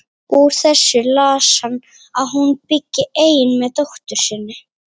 Úr þessu las hann að hún byggi ein með dóttur sinni.